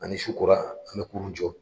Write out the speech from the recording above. A ni su kora an bɛ kurun jɔ.